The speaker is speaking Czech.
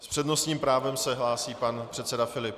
S přednostním právem se hlásí pan předseda Filip.